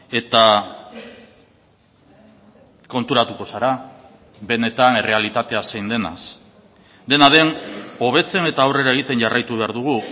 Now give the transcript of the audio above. eta konturatuko zara benetan errealitatea zein denaz dena den hobetzen eta aurrera egiten jarraitu behar dugu